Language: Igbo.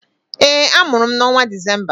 Ee, a mụrụ m n'ọnwa Disemba